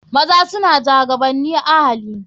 Mazaje suna jagabanin ahali.